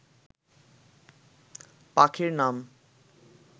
পাখির নাম